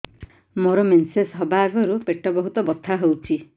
ମୋର ମେନ୍ସେସ ହବା ଆଗରୁ ପେଟ ବହୁତ ବଥା ହଉଚି